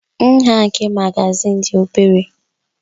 Nha nke magazin dị obere.